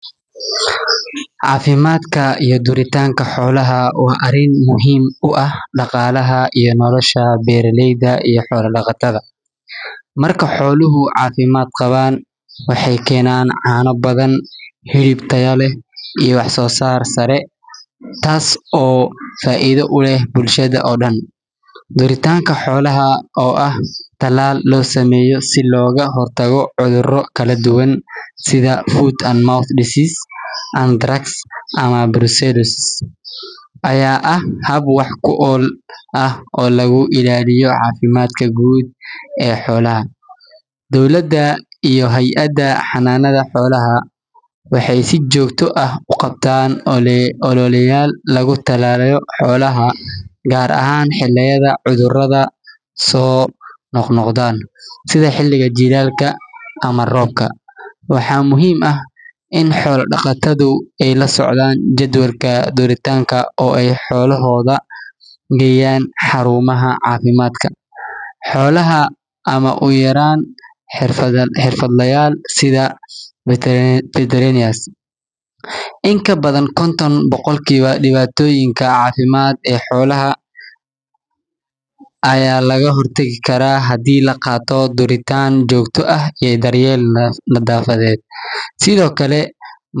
Cafimaadka xoolaha waa arin muhiim u ah beeraleyda, xoolaha waxeey keenan caana iyo hilib tayo leh iyo wax soo saar sare, duritaanka xoolaha ayaa ah hab wax ku ool ah, dowlada iyo hayada xananada xolaha waxeey si joogta ah uqabataan talaal xolaha sida xiliga jilaalka, waxaa muhiim ah in xoolaha lageeyo xarumaha cafimaadka, xolaha ayaa laga hor tagi karaa hadii laqaato durmo iyo nadaafad.